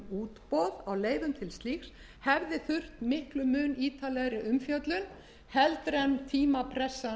útboð á leyfum til slíks hefði þurft miklum mun ítarlegri umfjöllun heldur en tímapressan